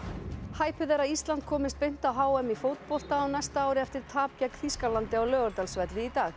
hæpið er að Ísland komist beint á h m í fótbolta á næsta ári eftir tap gegn Þýskalandi á Laugardalsvelli í dag